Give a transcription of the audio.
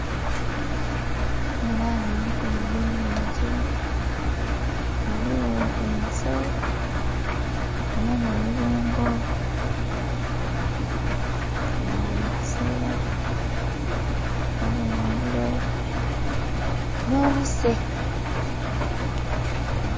Ndhi bonha ghanho emikono egyo muntu ghaligho ensoo nhabonha olubengo nga bali kuselaku, nhabonha obulo nho buse